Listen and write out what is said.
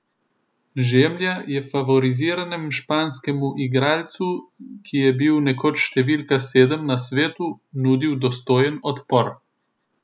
Žemlja je favoriziranem španskemu teniškemu igralcu, ki je bil nekoč številka sedem na svetu, nudil dostojen odpor.